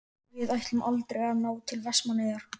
Við ætluðum aldrei að ná til Vestmannaeyja.